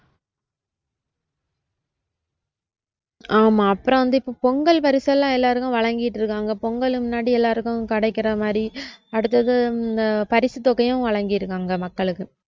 ஆமா அப்புறம் வந்து இப்ப பொங்கல் பரிசெல்லாம் எல்லாருக்கும் வழங்கிட்டிருக்காங்க பொங்கல் முன்னாடி எல்லாருக்கும் கிடைக்குற மாதிரி அடுத்தது பரிசு தொகையும் வழங்கியிருக்காங்க மக்களுக்கு